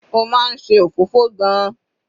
Ó máa ń ṣe òfófó gan-an.